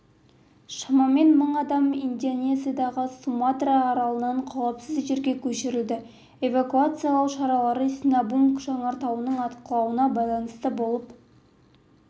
шамамен мың адам индонезиядағы суматра аралынан қауіпсіз жерге көшірілді эвакуациялау шаралары синабунг жанартауының атқылауына байланысты болып